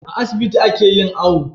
A asibiti ake yin awo